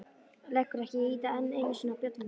Leggur ekki í að ýta enn einu sinni á bjölluhnappinn.